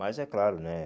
Mas é claro, né?